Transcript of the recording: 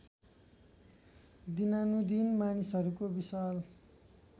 दिनानुदिन मानिसहरूको विशाल